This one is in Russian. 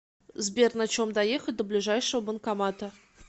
сбер на чем доехать до ближайшего банкомата